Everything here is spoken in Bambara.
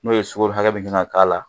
N'o ye sukaro hakɛ min kan ka k'a la